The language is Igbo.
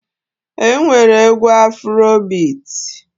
E nwere egwu Afuro bit.